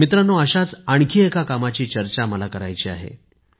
मित्रांनो अशाच आणखी एका कामाची चर्चा मला करायची आहे